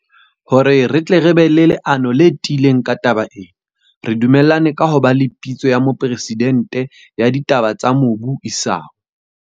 Hore re tle re be le leano le tiileng ka taba ena, re du mellane ka ho ba le Pitso ya Mopresidente ya Ditaba tsa Mobu isao.